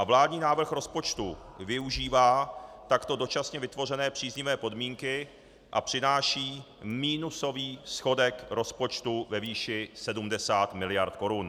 A vládní návrh rozpočtu využívá takto dočasně vytvořené příznivé podmínky a přináší minusový schodek rozpočtu ve výši 70 mld. korun.